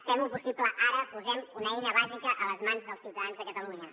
fem ho possible ara posem una eina bàsica a les mans dels ciutadans de catalunya